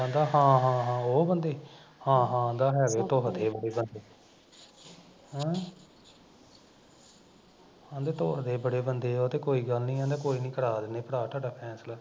ਕਹਿੰਦਾ ਹਾਂ ਹਾਂ ਉਹ ਬੰਦੇ, ਹਾਂ ਹਾਂ ਕਹਿੰਦਾ ਹੈਗੇ ਧੁਰ ਦੇ ਉਹ ਬੰਦੇ ਹੈਂ ਕਹਿੰਦਾ ਧੁਰ ਦੇ ਬੜੇ ਉਹ ਬੰਦੇ ਤੇ ਕੋਈ ਗੱਲ ਨੀ ਆ ਕੋਈ ਨੀ ਕਰਾ ਦਿੰਦੇ ਭਰਾ ਤੁਹਾਡਾ ਫੈਸਲਾ